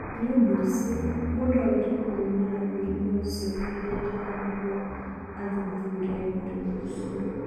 Nĩ ũndũ ũcio, mũndũ agĩrĩirũo kũrũmĩrĩra mũrimũ ũcio ihinda iraya nĩguo athuthurie mũrimũ ũcio.